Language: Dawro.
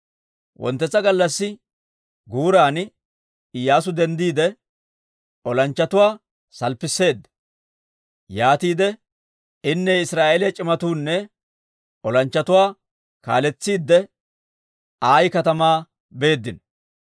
Wonttetsa gallassi guuran Iyyaasu denddiide, olanchchatuwaa salppisseedda; yaatiide inne Israa'eeliyaa c'imatuunne olanchchatuwaa kaaletsiidde Ayi katamaa beeddino.